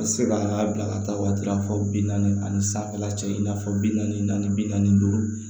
A bɛ se ka bila ka taa waati fɔ bi naani ani sanfɛla cɛ in na fɔ bi naani naani bi naani duuru